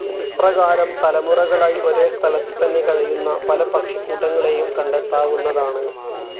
ഇപ്രകാരം തലമുറകളായി ഒരേസ്ഥലത്ത് തന്നെ കഴിയുന്ന പല പക്ഷിക്കൂട്ടങ്ങളേയും കണ്ടെത്താവുന്നതാണ്.